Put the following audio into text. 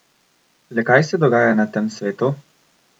Le kaj se dogaja na tem svetu?